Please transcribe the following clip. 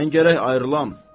mən gərək ayrılam.